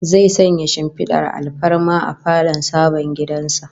Zai sanya shimfidar alfarma a falon sabon gidan sa